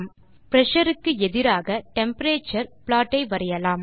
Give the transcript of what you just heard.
pressure க்கு எதிராக temperature plot ஐ வரையலாம்